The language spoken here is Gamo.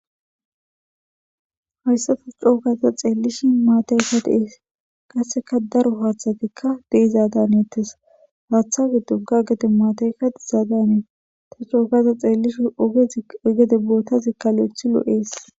hayssa ta cookaza xeellishi maatay sa deees qasseka daro haaththatikka deizaadaneettes haaththage do ga gete maataykka diizaadanee ta cookaza xeellishi egede bootazikkalo7ethi loo7ees